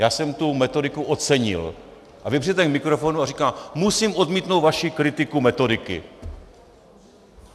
Já jsem tu metodiku ocenil a vy přijdete k mikrofonu a říkáte: Musím odmítnout vaši kritiku metodiky.